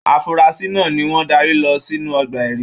Afurasi náà ní wọn darí lọ sínú ọgbà ẹrí.